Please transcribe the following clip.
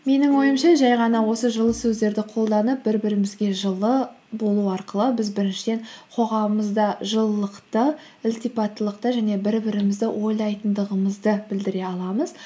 менің ойымша жай ғана осы жылы сөздерді қолданып бір бірімізге жылы болу арқылы біз біріншіден қоғамымызда жылылықты ілтипаттылықты және бір бірімізді ойлайтындығымызды білдіре аламыз